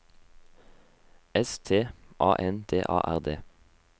S T A N D A R D